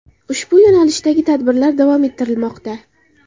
Ushbu yo‘nalishdagi tadbirlar davom ettirilmoqda.